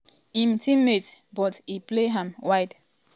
im teammate but um e play am wide.